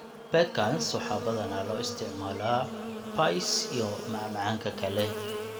Pecans waxaa badanaa loo isticmaalaa pies iyo macmacaanka kale.